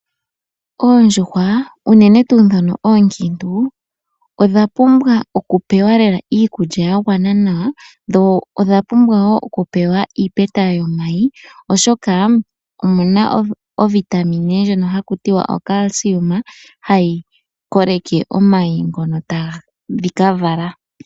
Oondjuhwa unene tuu dhono oonkiintu odhapumbwa okupewa iikulya yagwana, dho odhapumbwa okupewa iipeta yomayi oshoka omuna ovitamine hayi koleke omayi ngoka tadhi ka vala.